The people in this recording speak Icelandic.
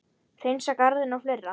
Hreinsa garðinn og fleira.